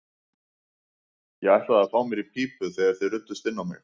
Ég ætlaði að fá mér í pípu þegar þið ruddust inn á mig.